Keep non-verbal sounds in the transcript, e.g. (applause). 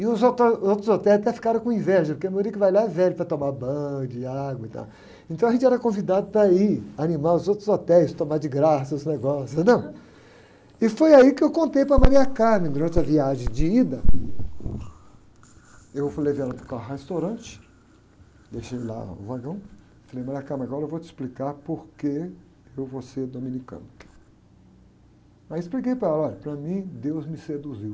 e os outros, (unintelligible) os outros hotéis até ficaram com inveja, porque a maioria que vai lá é velho para tomar banho de água e tal, então a gente era convidado para ir animar os outros hotéis, tomar de graça os negócios, entendeu? E foi aí que eu contei para a, (unintelligible) durante a viagem de ida, eu fui, levei ela para o carro restaurante, deixei lá o vagão, falei, (unintelligible) agora eu vou te explicar porque eu vou ser dominicano, aí expliquei para ela, olha, para mim Deus me seduziu,